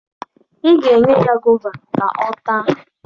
Ị ga-enye ya gova ka ọ taa